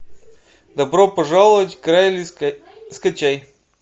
добро пожаловать к райли скачай